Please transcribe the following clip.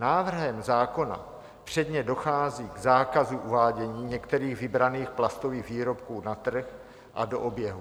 Návrhem zákona předně dochází k zákazu uvádění některých vybraných plastových výrobků na trh a do oběhu.